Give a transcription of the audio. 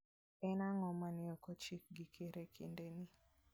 En ang'o ma ne ochik gi ker e kindeni?